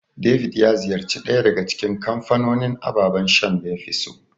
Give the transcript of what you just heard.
David ya ziyarci ɗaya daga cikin kamfanonin ababan shan da yafi so.